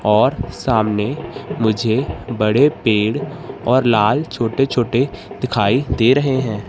और सामने मुझे बड़े पेड़ और लाल छोटे छोटे दिखाई दे रहे हैं।